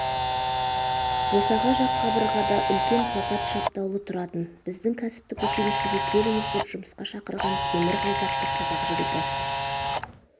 босаға жақ қабырғада үлкен плакат шаптаулы тұратын біздің кәсіптік училищеге келіңіз деп жұмысқа шақырған темір қалпақты қазақ жігіті